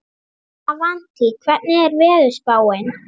Avantí, hvernig er veðurspáin?